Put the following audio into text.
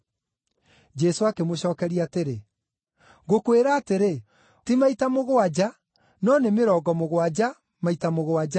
Jesũ akĩmũcookeria atĩrĩ, “Ngũkwĩra atĩrĩ, ti maita mũgwanja, no nĩ mĩrongo mũgwanja, maita mũgwanja.